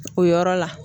O yɔrɔ la